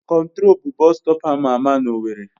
Control bụ bọstọp ama ama na owerri